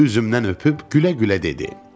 Üzümdən öpüb gülə-gülə dedi: